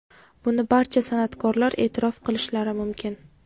Buni barcha san’atkorlar e’tirof qilishlari mumkin.